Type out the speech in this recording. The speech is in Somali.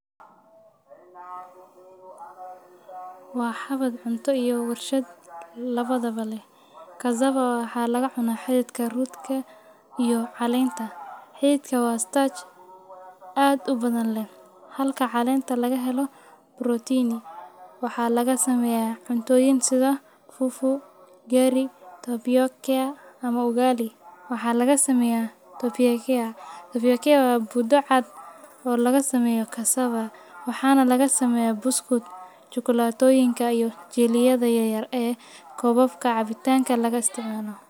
Wa xawad cunto iyo warshad intaba leh. cassava waxa lagacunaah xidika iyo calenta. Xididka wa starch ad ubadhan leh, halka calenta lagahelo protein . Waxaa lagasameyaah cuntoyin sida fufu ugali taboyokia ama ugali , waxaa lagasameyaah taboyikea, Taboyikea wa budo cad oo lagasameyo cassava waxaa lagasameyaah busuk chokolsyotinka iyo jil yada yaryar kobabka cabitanka lagaisticmalo.